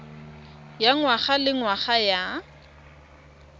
ya ngwaga le ngwaga ya